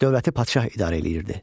Dövləti padşah idarə edirdi.